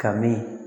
Ka min